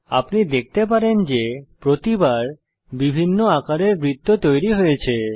আপনি দেখতে পারেন যে প্রতিবার বিভিন্ন আকারের বৃত্ত তৈরী হয়েছে